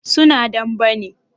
su na dambe ne?